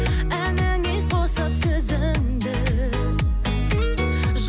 әніңе қосып сөзіңді